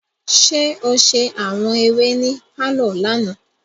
Ṣe o ṣe awọn eré ní parlor lànà?